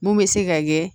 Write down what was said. Mun bɛ se ka kɛ